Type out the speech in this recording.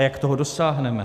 A jak toho dosáhneme?